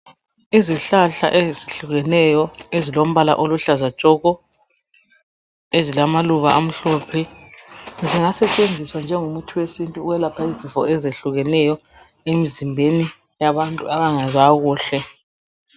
Izihlahla ezihlukeneyo ezilombala oluhlaza tshoko, ezilamaluba amhlophe zingasetshenziswa njengomuthi wesintu ukwelapha izifo ezehlukeneyo emzimbeni wabantu abangezwa kuhle.